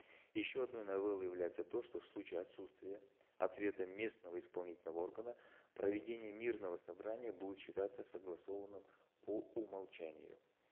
еще одной новеллой является то что в случае отсутствия ответа местного исполнительного органа проведение мирного собрания будет считаться согласованным по умолчанию